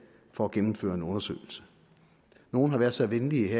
for at gennemføre en undersøgelse nogle har været så venlige at